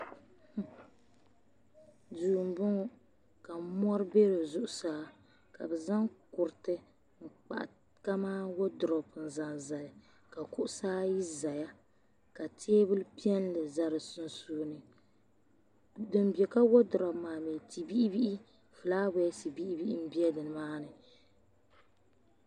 Duu m bɔŋɔ ka mɔri bɛ di zuɣusaa ka bɛ zaŋ kuruti n kpahi kaman wɔdrop n zaŋ zali ka kuɣusi ayi zaya ka tɛbuli piɛlli za di sunsuuni din bɛ ka wɔdrop mi ti bihi bihi flawasɛ bihi m bɛ nimani.